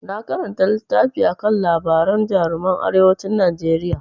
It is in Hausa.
Na karanta littafi akan labaran jaruman arewacin Najeriya.